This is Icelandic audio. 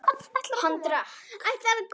Hann drakk.